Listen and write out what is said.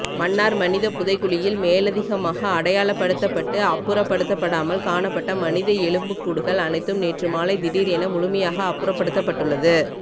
மன்னார் மனித புதைகுழியில் மேலதிகமாக அடையாளப்படுத்தப்பட்டுஅப்புறப்படுத்தப்படாமல் காணப்பட்ட மனித எலும்புக்கூடுகள் அனைத்தும் நேற்று மாலை திடீர் என முழுமையாக அப்புறப்படுத்தப்பட்டுள்ளது